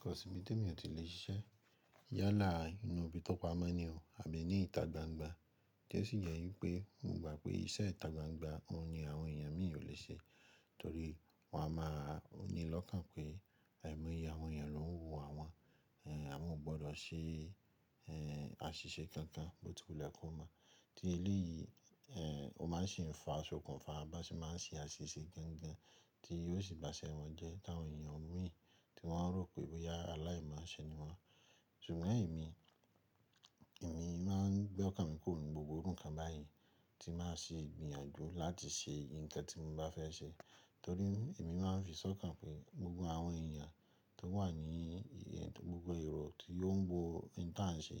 Kò sì bí temi ò tí lè ṣiṣẹ́ yálà inú ibi tó pamọ́ ní o, àbí ní ìta gbangba. Tí ó sì jẹ́ wípé mo gba pé iṣẹ́ ìta gbangba òun ni àwọn èèyàn mí ò le ṣe, torí wọ́n á máa ní lọ́kàn pé ẹ̀mí àwọn èèyàn ló ń wo àwọn. Àwọn ò gbọdọ̀ ṣe àṣìṣe kankan, bọ ti wule ko mo tí eleyìí, ó máa ń ṣi fa isokun fa, bí a ń ṣe máa ń ṣe àṣìṣe gangan tí yóò sì baṣẹ wọ́n jẹ́, ti àwọn èèyàn mí tí wọ́n rò pé wí pé yára láì má ṣe ni wọ́n. Ṣùgbọ́n èmi, èmi máa ń gbọ́kàn mi kúrò nínú gbogbo irú ńkan báyen ti máa ṣe ìgbìyànjú láti ṣe nǹkan tí mo bá fẹ́ ṣe. Torí èmi máa ń fi sọ́kàn pé gbogbo àwọn èèyàn tó wà ní gbogbo ero tí ó ń wo nǹkan tí à ń ṣe,